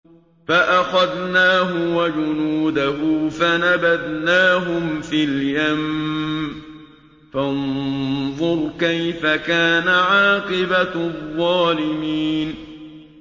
فَأَخَذْنَاهُ وَجُنُودَهُ فَنَبَذْنَاهُمْ فِي الْيَمِّ ۖ فَانظُرْ كَيْفَ كَانَ عَاقِبَةُ الظَّالِمِينَ